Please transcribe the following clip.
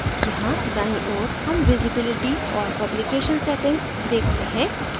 यहाँ दाईं ओर हम visibility और publication settings देखते हैं